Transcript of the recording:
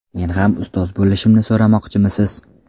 Men ham ustoz bo‘lishimni so‘ramoqchimisiz?”.